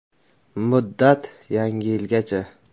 Muddat Yangi yilgacha!